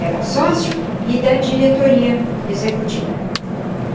Era sócio e da diretoria executiva.